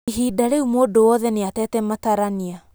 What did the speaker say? Ihinda rĩũ mũndũ wothe nĩatete matarania.